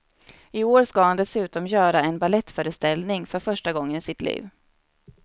I år ska han dessutom göra en balettföreställning, för första gången i sitt liv.